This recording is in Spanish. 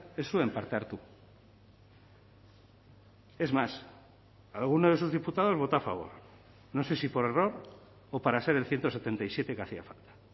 ez zuen parte hartu es más alguno de sus diputados votó a favor no sé si por error o para ser el ciento setenta y siete que hacía falta